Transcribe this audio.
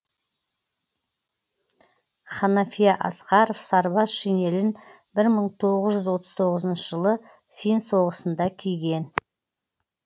ханафия асқаров сарбаз шинелін бір мың тоғыз жүз отыз тоғызыншы жылы фин соғысында киген